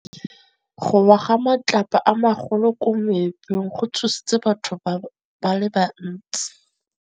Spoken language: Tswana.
Go wa ga matlapa a magolo ko moepong go tshositse batho ba le bantsi.